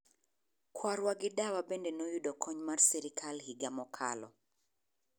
Kwarwa gi dawa bende noyudo kony mar sirkal higa mokalo.